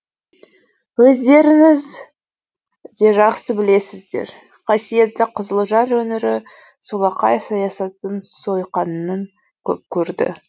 өздерііңз де жақсы білесіздер қасиетті қызылжар өңірі солақай саясаттың сойқанын көп көрді